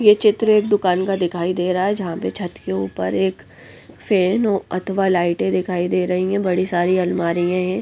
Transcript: ये चित्र एक दुकान का दिखाई दे रहा है जहाँ पर छत के ऊपर एक फैन अथवा लाइटें दिखाई दे रही हैं बड़ी सारी अलमारियां हैं।